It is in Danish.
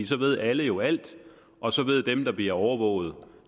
så ved alle jo alt og så ved dem der bliver overvåget